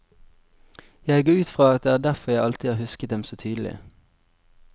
Jeg går ut fra at det er derfor jeg alltid har husket dem så tydelig.